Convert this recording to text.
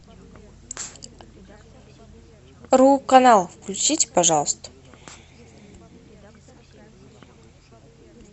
ру канал включите пожалуйста